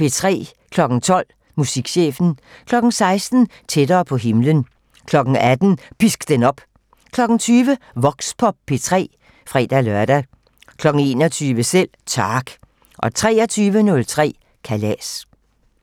12:00: Musikchefen 16:00: Tættere på himlen 18:00: Pisk den op 20:00: Voxpop P3 (fre-lør) 21:00: Selv Tak 23:03: Kalas